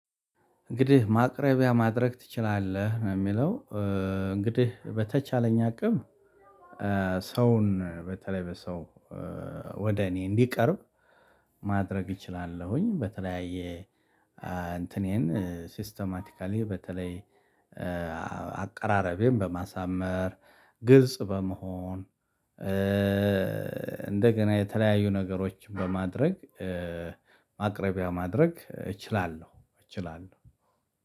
እንግዲህ ማቅረቢያ ማድረግ ትችላለህ ነው የሚለው እንግዲህ በተቻለኝ አቅም። ሰውን በተለይ በሰው ወደ እኔ እንዲቀርብ ማድረግ እችላለሁኝ። በተለያየ እንትኔን ሲስተማቲካሊ በተለይ አቀራረቤን በማሳመር ግልጽ በመሆን። እንደገና የተለያዩ ነገሮችን በማድረግ ማቅረቢያ ማድረግ እችላለሁ እችላለሁ።